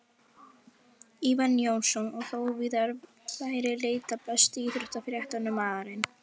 Ívar Jónsson og þó víðar væri leitað Besti íþróttafréttamaðurinn?